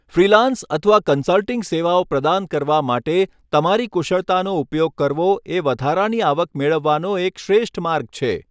Freelance અથવા consulting સેવાઓ પ્રદાન કરવા માટે તમારી કુશળતાનો ઉપયોગ કરવો એ વધારાની આવક મેળવવાનો એક શ્રેષ્ઠ માર્ગ છે.